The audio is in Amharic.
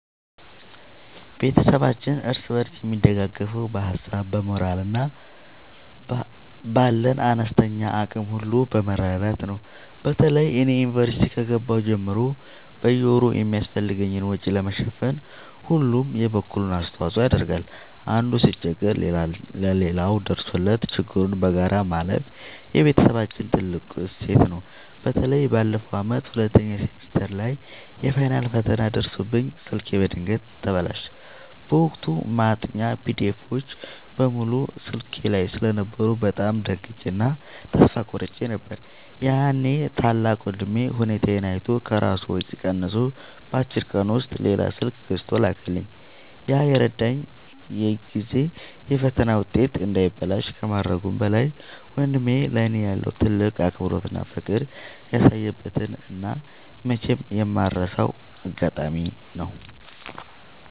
ቤተሰባችን እርስ በርስ የሚደጋገፈው በሀሳብ፣ በሞራል እና ባለን አነስተኛ አቅም ሁሉ በመረዳዳት ነው። በተለይ እኔ ዩኒቨርሲቲ ከገባሁ ጀምሮ በየወሩ የሚያስፈልገኝን ወጪ ለመሸፈን ሁሉም የበኩሉን አስተዋጽኦ ያደርጋል። አንዱ ሲቸገር ሌላው ደርሶለት ችግሩን በጋራ ማለፍ የቤተሰባችን ትልቅ እሴት ነው። በተለይ ባለፈው ዓመት ሁለተኛ ሴሚስተር ላይ የፋይናል ፈተና ደርሶብኝ ስልኬ በድንገት ተበላሸ። በወቅቱ ማጥኛ ፒዲኤፎች (PDFs) በሙሉ ስልኬ ላይ ስለነበሩ በጣም ደንግጬ እና ተስፋ ቆርጬ ነበር። ያኔ ታላቅ ወንድሜ ሁኔታዬን አይቶ ከራሱ ወጪ ቀንሶ በአጭር ቀን ውስጥ ሌላ ስልክ ገዝቶ ላከልኝ። ያ የረዳኝ ጊዜ የፈተና ውጤቴ እንዳይበላሽ ከማድረጉም በላይ፣ ወንድሜ ለእኔ ያለውን ትልቅ አክብሮትና ፍቅር ያሳየበት እና መቼም የማልረሳው አጋጣሚ ነው።